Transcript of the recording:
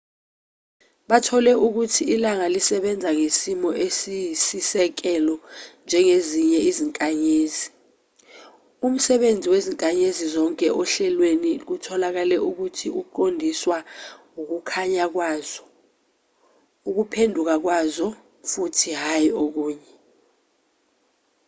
bathole ukuthi ilanga lisebenza ngezimiso eziyisisekelo njengezinye izinkanyezi umsebenzi wezinkanyezi zonke ohlelweni kutholakale ukuthi uqondiswa ukukhanya kwazo ukuphenduka kwazo futhi hhayi okunye